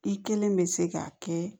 I kelen bɛ se ka kɛ